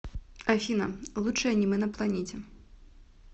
афина лучшее аниме на планете